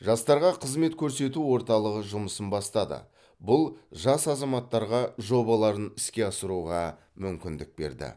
жастарға қызмет көрсету орталығы жұмысын бастады бұл жас азаматтарға жобаларын іске асыруға мүмкіндік берді